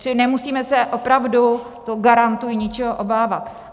Čili nemusíme se opravdu - to garantuji - ničeho obávat.